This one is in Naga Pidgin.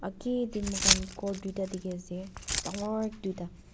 Agaee dae mokhan ghor duida dekhey ase dangoor duida.